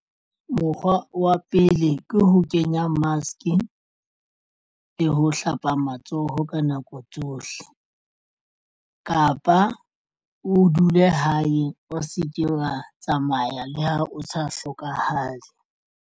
Mokgwa wa pele ke ho kenya mask le ho hlapa matsoho ka nako tsohle kapa o dule hae o se ke wa tsamaya le ha o sa hlokahale.